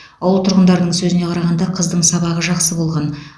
ауыл тұрғындарының сөзіне қарағанда қыздың сабағы жақсы болған